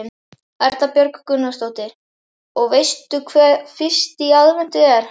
Erla Björg Gunnarsdóttir: Og veistu hvað fyrsti í aðventu er?